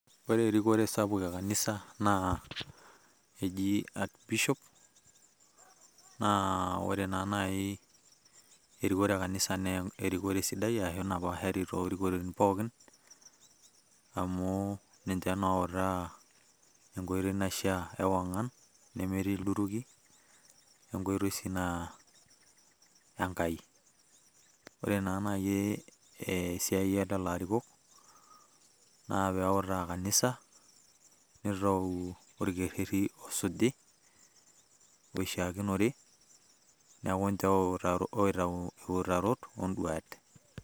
Ore erikore sapuk ekanisa, naa eji ak Bishop, naa ore naa nai erikore ekanisa na erikore sidai napashari torikoren pookin, amu ninche na outaa enkoitoi naishaa ewang'an, nemetii ilduruki, enkoitoi si naa Enkai. Ore si na nai esiai elelo arikok, na peutaa kanisa, nitau orkerrerri osuji, oishaakinore. Neeku ninche oitau iutarot oduat.